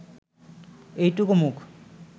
এইটুকু মুখ